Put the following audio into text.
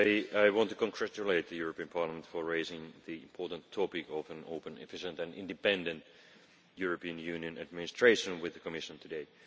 I want to congratulate the European Parliament for raising the important topic of an open, efficient and independent European Union administration with the Commission today.